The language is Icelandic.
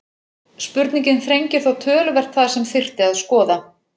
Spurningin þrengir þó töluvert það sem þyrfti að skoða.